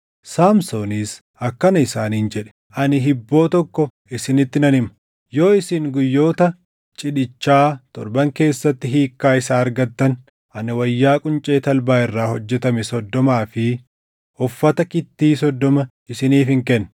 Saamsoonis akkana isaaniin jedhe; “Ani hibboo tokko isinitti nan hima; yoo isin guyyoota cidhichaa torban keessatti hiikkaa isaa argattan, ani wayyaa quncee talbaa irraa hojjetame soddomaa fi uffata kittii soddoma isiniifin kenna.